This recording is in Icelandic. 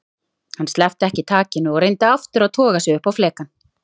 Hann sleppti ekki takinu og reyndi aftur að toga sig upp á flekann.